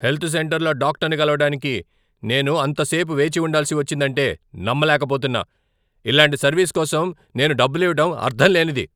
Health సెంటర్లో డాక్టర్ని కలవడానికి నేను అంత సేపు వేచి ఉండాల్సి వచ్చిందంటే నమ్మలేకపోతున్నా! ఇలాంటి సర్వీస్ కోసం నేను డబ్బులివ్వడం అర్థంలేనిది.